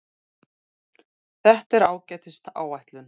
Þetta er ágætis áætlun.